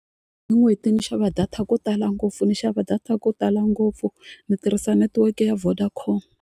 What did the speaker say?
Hi n'hweti ni xava data ku tala ngopfu ni xava data ku tala ngopfu ni tirhisa netiweke ya Vodacom.